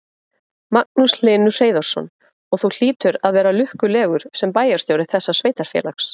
Magnús Hlynur Hreiðarsson: Og þú hlýtur að vera lukkulegur sem bæjarstjóri þessa sveitarfélags?